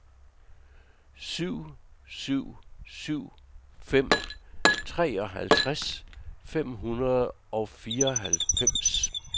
syv syv syv fem treoghalvtreds fem hundrede og fireoghalvfems